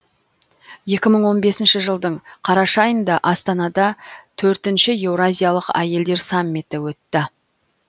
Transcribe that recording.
екі мың он бесінші жылдың қараша айында астанада төртінші еуразиялық әйелдер саммиті өтті